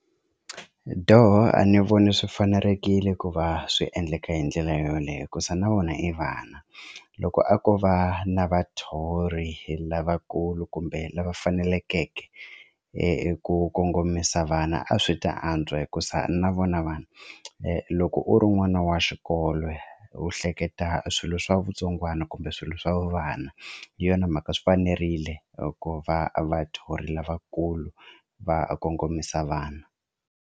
Dooh, a ni voni swi fanelekile ku va swi endleka hi ndlela yoleyo hikuza na vona i vana loko a ko va na vathori lavakulu kumbe lava fanelekeke ku kongomisa vana a swi ta antswa hikuza na vona vana loko u ri n'wana wa xikolo u hleketa swilo swa vutsongwana kumbe swilo swa vu vana hi yona mhaka swi fanerile ku va vadyuhari lavakulu va kongomisa vana.